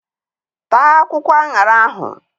Taa akwụkwọ aṅara ahụ!